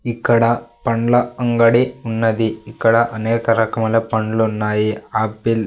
ఇక్కడ పండ్ల అంగడి ఉన్నది ఇక్కడ అనేక రకమైన పండ్లు ఉన్నాయి ఆపిల్ .